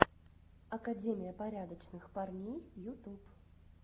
академия порядочных парней ютуб